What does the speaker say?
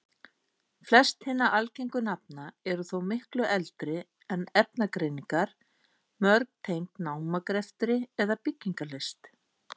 Flest hinna algengu nafna eru þó miklu eldri en efnagreiningar, mörg tengd námagreftri eða byggingarlist.